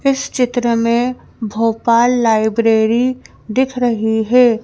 इस चित्र में भोपाल लाइब्रेरी दिख रही है।